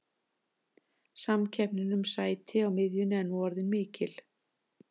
Samkeppnin um sæti á miðjunni er nú orðin mikil.